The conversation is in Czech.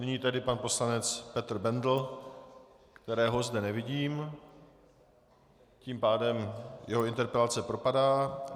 Nyní tedy pan poslanec Petr Bendl - kterého zde nevidím, tím pádem jeho interpelace propadá.